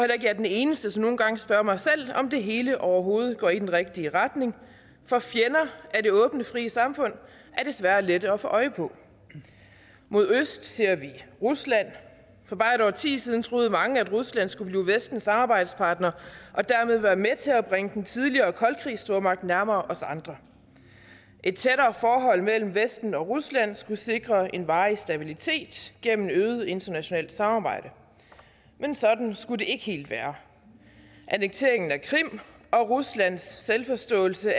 er den eneste som nogle gange spørger mig selv om det hele overhovedet går i den rigtige retning for fjender af det åbne frie samfund er desværre lette at få øje på mod øst ser vi rusland for bare et årti siden troede mange at rusland skulle blive vestens samarbejdspartner og dermed være med til at bringe den tidligere koldkrigsstormagt nærmere os andre et tættere forhold mellem vesten og rusland skulle sikre en varig stabilitet gennem øget internationalt samarbejde men sådan skulle det ikke helt være annekteringen af krim og ruslands selvforståelse